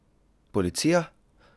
Policija?